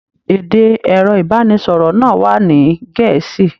Èdè ẹrọ ibaraẹnisọrọ náà wà ní Gẹ̀ẹ́sì.